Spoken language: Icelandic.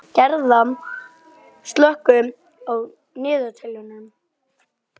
Hvernig er styrkleikinn á úrvalsdeildinni í Austurríki samanborið við Þýskaland?